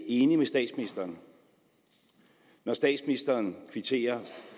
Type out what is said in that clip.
enig med statsministeren når statsministeren kvitterer